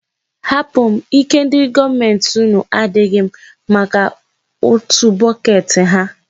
Hapụ m, ike ndị gọọmenti unu adịghị maka utu bọket ha.